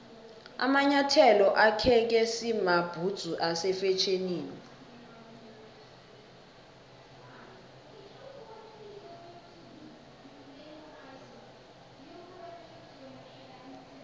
amanyathelo akheke samabhudzu ase fetjhenini